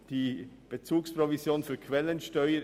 Es geht um die Bezugsprovision für die Quellensteuer.